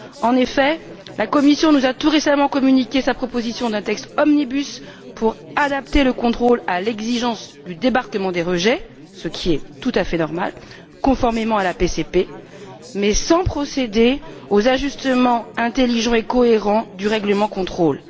En effet, la Commission nous a, tout récemment, communiqué sa proposition d'un texte omnibus pour adapter le contrôle à l'exigence du débarquement des rejets, ce qui est tout à fait normal, conformément à la politique commune de la pêche, mais sans procéder aux ajustements intelligents et cohérents du règlement de contrôle.